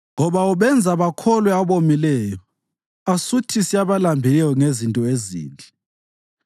ngoba ubenza bakholwe abomileyo asuthise abalambileyo ngezinto ezinhle.